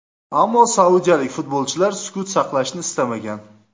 Ammo saudiyalik futbolchilar sukut saqlashni istamagan.